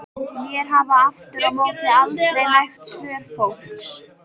Mér hafa aftur á móti aldrei nægt svör fólks.